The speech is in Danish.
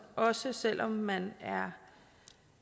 også selv om man